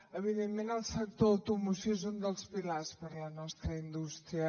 evidentment el sector automoció és un dels pilars per a la nostra indústria